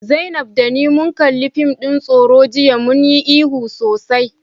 Zainab da ni mun kalli fim din tsoro jiya, mun yi ihu sosai.